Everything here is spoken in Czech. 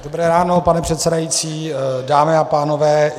Dobré ráno pane předsedající, dámy a pánové.